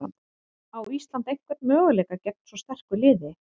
Á Ísland einhvern möguleika gegn svo sterku liði?